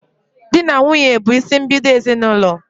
Di na nwunye bụ isimbido ezinaụlọ